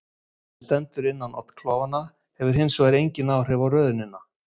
Það sem stendur innan oddklofanna hefur hins vegar engin áhrif á röðunina.